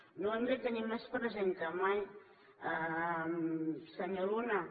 ho hem de tenir més present que mai senyor luna